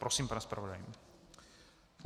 Prosím, pane zpravodaji.